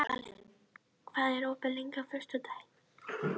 Valur, hvað er opið lengi á föstudaginn?